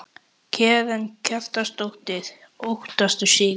Karen Kjartansdóttir: Óttastu sigur?